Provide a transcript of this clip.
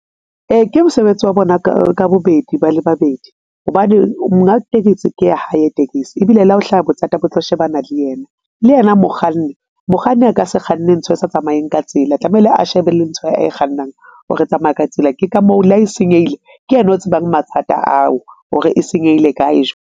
Ee, ke mosebetsi wa bona ka ka bobedi ba le babedi hobane monga tekesi ke ya hae tekesi ebile le ha ho hlaha bothata bo tlo shebana le yena, le yena mokganni, mokganni a ka se kganne ntho e sa tsamaeng ka tsela tlamele a shebe le ntho ae kgannang ho re e tsamaya ka tsela, ke ka moo le ha e senyehile, ke yena o tsebang mathata ao hore e senyehile kae.